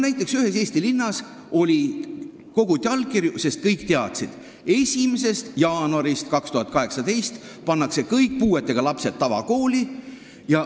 Näiteks koguti ühes Eesti linnas allkirju, sest kõik teadsid, et 1. jaanuarist 2018 pannakse kõik puuetega lapsed tavakooli.